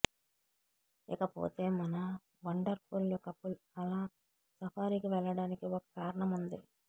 ఇకపోతే మన wonderful couple అలా సఫారీకి వెళ్లడానికీ ఒక కారణముంది